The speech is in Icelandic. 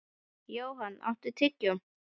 Johan, áttu tyggjó?